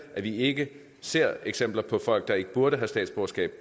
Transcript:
vi ikke ser eksempler på folk der ikke burde have statsborgerskab